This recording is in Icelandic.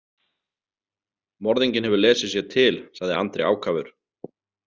Morðinginn hefur lesið sér til, sagði Andri ákafur.